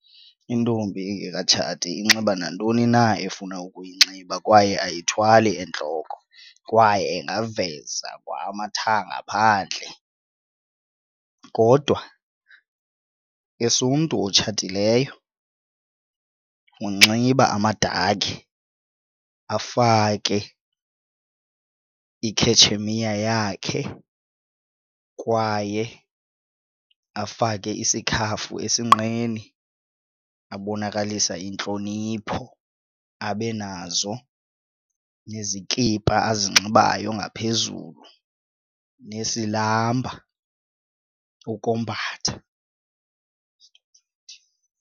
Intombi engekatshati inxiba nantoni na efuna ukuyinxiba kwaye ayithwali entloko kwaye ingaveza kwa amathanga phandle kodwa as umntu otshatileyo unxiba amadakhi afake ikhetshemiya yakhe kwaye afake isikhafu esinqeni abonakalisa intlonipho abe nazo nezikipa azinxibayo ngaphezulu nesilamba ukombatha.